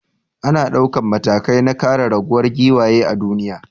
Ana daukan matakai na kare raguwar giwaye a duniya.